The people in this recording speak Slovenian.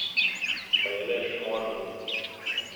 Pa je le šmorn!